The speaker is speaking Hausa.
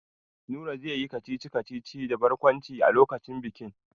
Nura zai yi kacici-kacici da barkwanci a lokacin bikin.